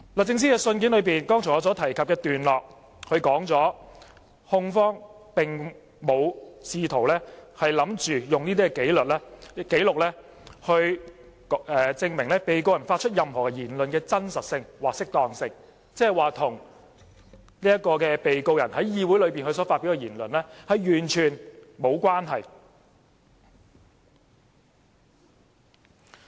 在我剛才提及律政司信件的段落中，說明控方並非試圖利用這些紀錄證明被告人發出的任何言論的真實性或適當性，即是說，文件與被告人在議會內所發表的言論完全無關。